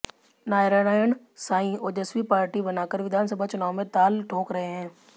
Narayan Sai Ojaswi Party बनाकर विधानसभा चुनाव में ताल ठोंक रहे हैं